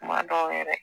Kuma dɔw yɛrɛ